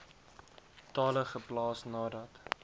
tale geplaas nadat